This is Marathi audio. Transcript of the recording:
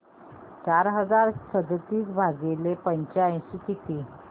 चार हजार सदतीस भागिले पंच्याऐंशी किती